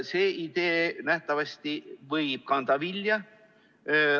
See idee võib nähtavasti vilja kanda.